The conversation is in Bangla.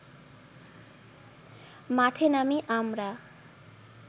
মাঠে নামি আমরা